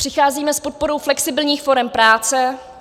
Přicházíme s podporou flexibilních forem práce.